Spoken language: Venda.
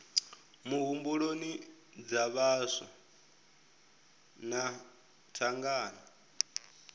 muhumbuloni dza vhaswa na thangana